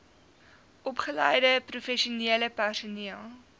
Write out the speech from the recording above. opgeleide professionele personeel